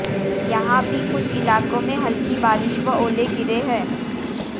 यहां भी कुछ इलाकों में हल्की बारिश व ओले गिरे है